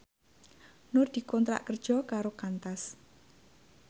Nur dikontrak kerja karo Qantas